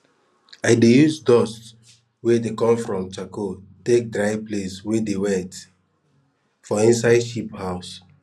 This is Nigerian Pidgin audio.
i dey use dust wey dey come from charcoal take dry places weybdey wet for inside sheep house